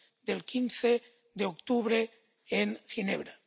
del 15 de octubre en Ginebra.